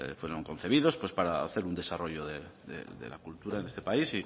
fueron concebidos pues para hacer un desarrollo de la cultura en este país